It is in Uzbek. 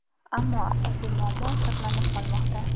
ammo asosiy muammo saqlanib qolmoqda.